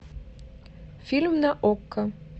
фильм на окко